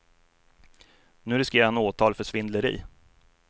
Nu riskerar han åtal för svindleri.